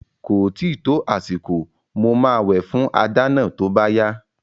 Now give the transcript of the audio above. Ko tíì tó àsìkò, mo máa wẹ̀ fún ajá náà tó bá yá